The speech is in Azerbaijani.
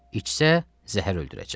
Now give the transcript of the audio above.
İçsə, zəhər öldürəcək.